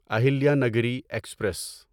Ahilya Nagari express